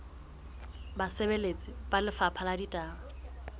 basebeletsi ba lefapha la ditaba